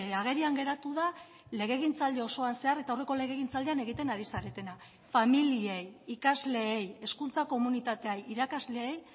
agerian geratu da legegintzaldi osoan zehar eta aurreko legegintzaldian egiten ari zaretena familiei ikasleei hezkuntza komunitateei irakasleei